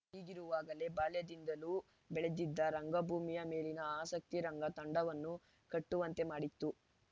ಹೀಗಿರುವಾಗಲೇ ಬಾಲ್ಯದಿಂದಲೂ ಬೆಳೆದಿದ್ದ ರಂಗಭೂಮಿಯ ಮೇಲಿನ ಆಸಕ್ತಿ ರಂಗ ತಂಡವನ್ನು ಕಟ್ಟುವಂತೆ ಮಾಡಿತ್ತು